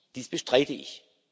Dies bestreite ich.